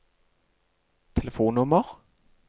telefonnummer